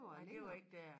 Nej det var ikke dér